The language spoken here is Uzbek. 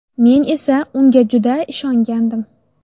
Men esa unga juda ishongandim.